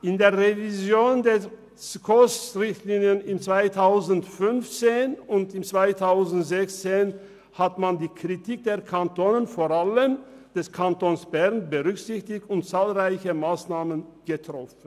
In der Revision der SKOS-Richtlinien in den Jahren 2015 und 2016 wurde die Kritik der Kantone, vor allem die Kritik des Kantons Bern, berücksichtigt, und es wurden zahlreiche Massnahmen getroffen.